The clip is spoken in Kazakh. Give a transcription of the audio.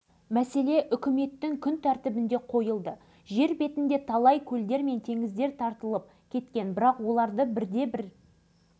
таяуда ғана президент нұрсұлтан назарбаев журналистермен жүздесуінде кіші арал теңізін толықтай қалпына келтіру ісі таяу арада жүзеге асатынын